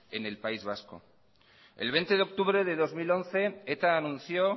en el país vasco el veinte de octubre de dos mil once eta anunció